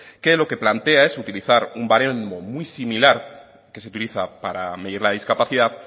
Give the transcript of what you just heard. que lo que plantea es utilizar un baremo muy similar que se utiliza para medir la discapacidad